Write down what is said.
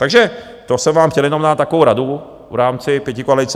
Takže to jsem vám chtěl jenom na takovou radu v rámci pětikoalice.